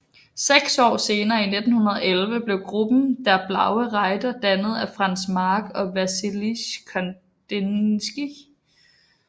Seks år senere i 1911 blev gruppen Der Blaue Reiter dannet af Franz Marc og Vasilij Kandinskij